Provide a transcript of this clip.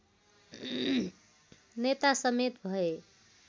नेता समेत भए